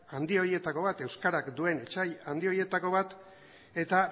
handi horietako bat euskarak duen etsai handi horietako bat eta